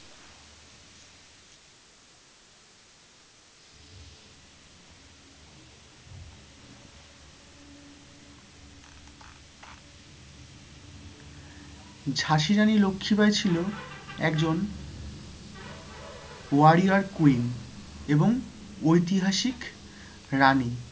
ঝাঁসি রানী লক্ষি বাই ছিল একজন warrior queen এবং ঐতিহাসিক রানী।